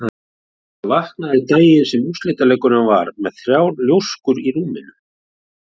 Ég vaknaði daginn sem úrslitaleikurinn var með þrjár ljóskur í rúminu.